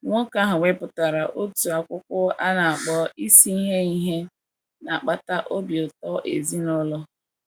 Nwoke ahụ wepụtara otu akwụkwọ a na - akpọ Isi Ihe Ihe Na - akpata Obi Ụtọ Ezinụlọ.